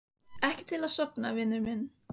Ekki til að sofna, vinur minn.